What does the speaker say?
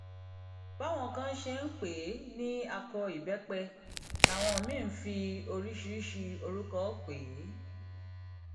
báwọn kan ṣe ń pè é ní akọ ìbẹpẹ làwọn míín ń fi oríṣiríṣii orúkọ pè é